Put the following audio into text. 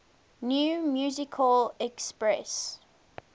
new musical express